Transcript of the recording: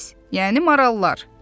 Biz, yəni marallar.